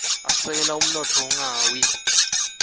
asekela umnotfo ungawia